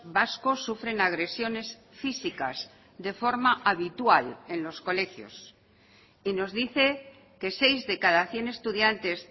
vascos sufren agresiones físicas de forma habitual en los colegios y nos dice que seis de cada cien estudiantes